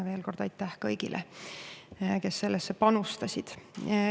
Veel kord aitäh kõigile, kes sellesse panustasid.